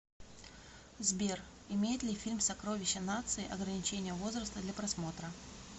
сбер имеет ли фильм сокровища нации ограничения возраста для просмотра